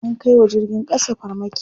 An kai wa jirgin ƙasa farmaki.